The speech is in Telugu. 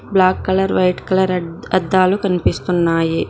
బ్లాక్ కలర్ వైట్ కలర్ అద్దాలు కనిపిస్తున్నాయి